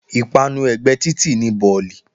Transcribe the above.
Ìpanu ẹ̀gbẹ́ títì ni bọ̀lì